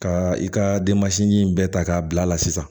Ka i ka denbasi in bɛɛ ta k'a bila sisan